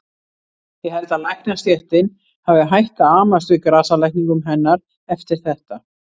Ég held að læknastéttin hafi hætt að amast við grasalækningum hennar eftir þetta.